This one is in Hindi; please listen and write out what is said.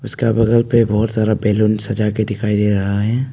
उसका बगल पे बहुत सारा बैलून सजा के दिखाई दे रहा है।